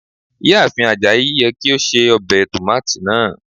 Iyaafin Ajayi yẹ ki o ṣe obe tomati naa